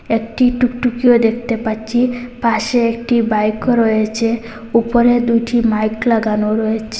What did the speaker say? একটি টুকটুকিও দেখতে পাচ্ছি পাশে একটি বাইকও রয়েছে উপরে দুটি মাইক লাগানো রয়েছ--